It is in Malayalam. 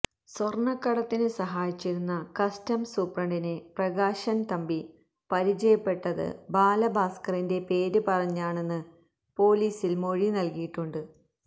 സ്വര്ണക്കടത്തിന് സഹായിച്ചിരുന്ന കസ്റ്റംസ് സൂപ്രണ്ടിനെ പ്രകാശന് തമ്പി പരിചയപ്പെട്ടത് ബാലഭാസ്കറിന്റെ പേര് പറഞ്ഞാണെന്ന് പോലീസില് മൊഴി നല്കിയിട്ടുണ്ട്